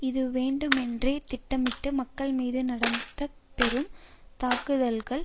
இது வேண்டுமென்றே திட்டமிட்டு மக்கள் மீது நடத்த பெறும் தாக்குதல்கள்